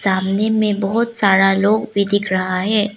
आमने में बहोत सारा लोग भी दिख रहा है।